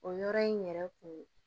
O yɔrɔ in yɛrɛ kun